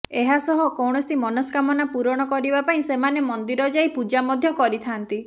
ଏହା ସହ କୌଣସି ମନସ୍କାମନା ପୂରଣ କରିବା ପାଇଁ ସେମାନେ ମନ୍ଦିର ଯାଇ ପୂଜା ମଧ୍ୟ କରିଥାନ୍ତି